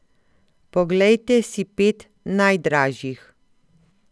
Poglejte si pet najdražjih.